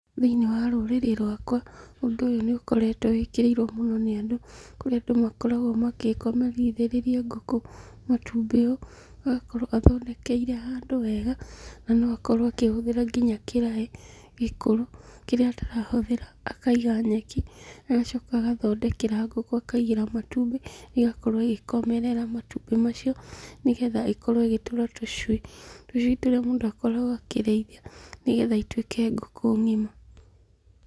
Thĩiniĩ wa rũrĩrĩ rwakwa, ũndũ ũyũ nĩ ũkoretwo wĩkĩrĩirwo mũno nĩ andũ, kũrĩa andũ makoragwo makomithĩrĩirie ngũkũ matumbĩ, agakorwo athondekeire handũ wega na no akorwo akĩhũthĩra kĩrai gĩkũrũ kĩrĩa atarahũthĩra, akaiga nyeki, agacoka agathondekera ngũkũ akaigĩra matumbi, ĩgakorwo ĩgĩkomerera matumbĩ macio, nĩgetha ĩkorwo ĩgĩtũra tũcui , tũcui tũrĩa mũndũ akoragwo akĩrĩithia , nĩgetha ituĩke ngũkũ ngima.